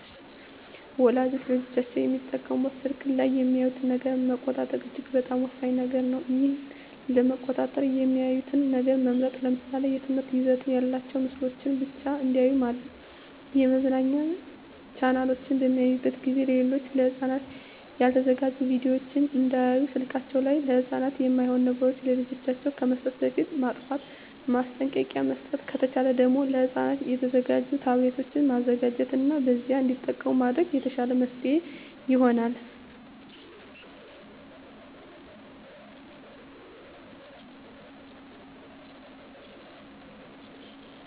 ወላጆች ለልጆቻቸው የሚጠቀሙበት ስልክ ላይ የሚያዩትን ነገር መቆጣጠር እጅግ በጣም ወሳኝ ነገር ነው ይህን ለመቆጣጠር የሚያዩትን ነገር መምረጥ ለምሳሌ የትምህርት ይዘት ያላቸውን ምስሎችን ብቻ እንዲያዩ ማድረግ የመዝናኛ ቻናሎችን በሚያዩበት ጊዜ ሌሎች ለህፃናት ያልተዘጋጁ ቪዲዮወችን እንዳያዩ ስልከችን ላይ ለህፃናት የማይሆኑ ነገሮች ለልጆች ከመስጠታችን በፊት ማጥፍት ማስጠንቀቂያ መስጠት ከተቻለ ደግም ለህፃናት የተዘጋጁ ታብሌቶችን መዘጋጀት እና በዚያ እንዲጠቀሙ ማድረግ የተሻለ መፍትሔ ይሆናል።